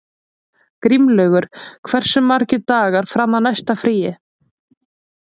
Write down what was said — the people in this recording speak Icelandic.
Grímlaugur, hversu margir dagar fram að næsta fríi?